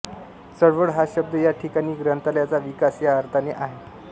चळवळ हा शब्द या ठिकाणी ग्रंथालयांचा विकास या अर्थाने आहे